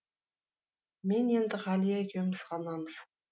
мен енді ғалия екеуміз ғанамыз